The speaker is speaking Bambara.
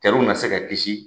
Cɛw ma se ka kisi.